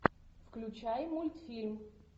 включай мультфильм